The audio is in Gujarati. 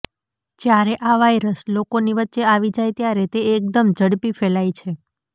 જ્યારે આ વાઈરસ લોકોની વચ્ચે આવી જાય ત્યારે તે એકદમ ઝડપી ફેલાય છે